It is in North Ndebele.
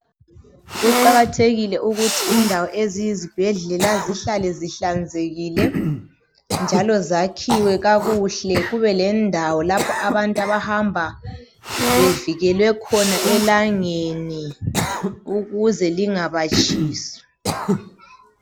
Kuqakathekile ukuthi indawo eziyizibhedlela zihlale zihlanzekile njalo zakhiwe kakuhle kube lendawo lapho abantu abahamba bevikelwe khona elangeni ukuze lingabatshisi.